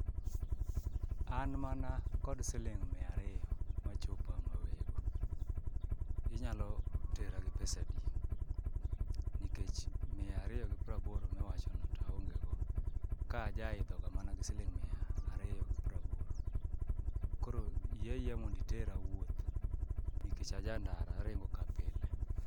An mana kod siling' mia ariyo machopa mawego, inyalo tera gi pesadi nikech mia ariyo gi praboro miwachono to aongego, ka ajaidhoga mana gi siling' mia ariyo gi praboro, koro yie ayieya mondo iera wuoth nikech a jandara aringo ka pile.